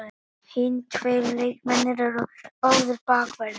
Hinir tveir leikmennirnir eru báðir bakverðir